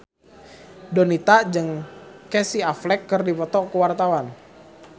Donita jeung Casey Affleck keur dipoto ku wartawan